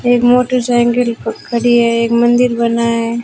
एक मोटरसाइकिल खडी क खड़ी है एक मंदिर बना है।